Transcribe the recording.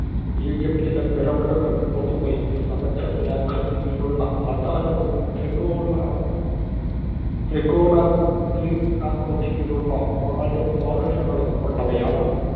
ഈജിപ്റ്റിലെ pyramid ഉകള്‍ പൊതുവേ സമചതുരാകൃതിയിലുള്ള ആധാരവും, ത്രികോണ~ ത്രികോണാകൃതിയിലുള്ള നാല് പാർശ്വങ്ങളും ഉള്ളവയാണ്.